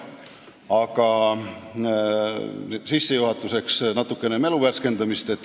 Aga sissejuhatuseks paar sõna mälu värskendamiseks.